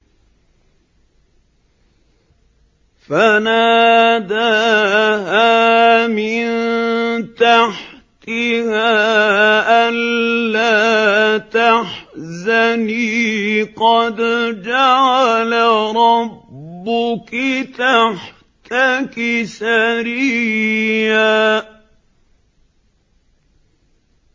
فَنَادَاهَا مِن تَحْتِهَا أَلَّا تَحْزَنِي قَدْ جَعَلَ رَبُّكِ تَحْتَكِ سَرِيًّا